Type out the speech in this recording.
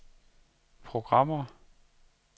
programmer